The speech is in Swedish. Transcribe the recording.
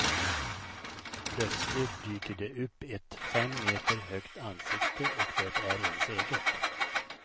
Plötsligt dyker det upp ett fem meter högt ansikte och det är ens eget.